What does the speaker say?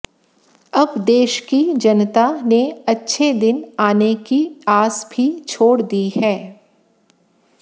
अब देश की जनता ने अच्छे दिन आने की आस भी छोड़ दी है